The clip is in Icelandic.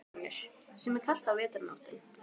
Konur, sem er kalt á vetrarnóttum.